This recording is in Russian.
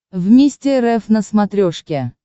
вместе рф на смотрешке